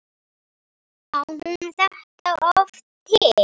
Á hún þetta oft til?